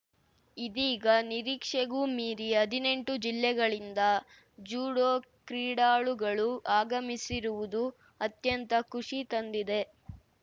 ಇದೀಗ ನಿರೀಕ್ಷೆಗೂ ಮೀರಿ ಹದಿನೆಂಟು ಜಿಲ್ಲೆಗಳಿಂದ ಜುಡೋ ಕ್ರೀಡಾಳುಗಳು ಆಗಮಿಸಿರುವುದು ಅತ್ಯಂತ ಖುಷಿ ತಂದಿದೆ